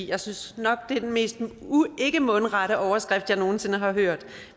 jeg synes nok at det er den mest ikkemundrette overskrift jeg nogen sinde har hørt